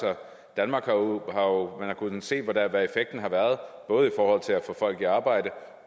og man kunnet se hvad effekten har været både i forhold til at få folk i arbejde